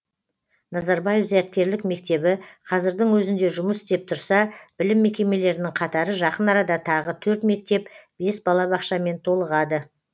назарбаев зияткерлік мектебі қазірдің өзінде жұмыс істеп тұрса білім мекемелерінің қатары жақын арада тағы төрт мектеп бес балабақшамен толығады